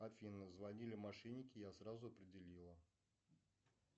афина звонили мошенники я сразу определила